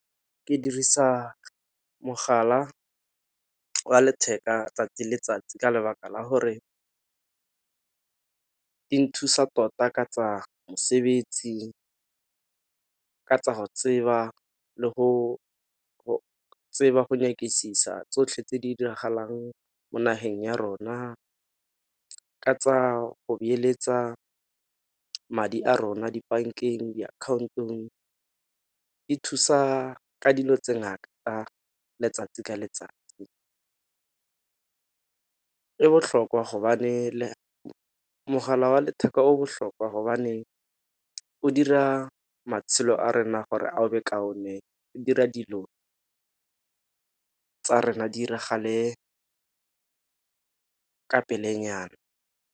Ke dirisa mogala wa letheka 'tsatsi le letsatsi ka lebaka la gore e nthusa tota ka tsa mosebetsi ka tsa go tseba le go tseba go nyakisisa tsotlhe tse di diragalang mo nageng ya rona. Ka tsa go beeletsa madi a rona dibankeng, diakhaontong di thusa ka dilo tse ngata letsatsi le letsatsi. E botlhokwa gobane mogala wa letheka o botlhokwa gobaneng go dira matshelo a rena gore a o be kaone e dira dilo tsa rena di 'iragale ka pele nyana.